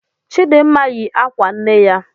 Chidinma yi akwa nne ya.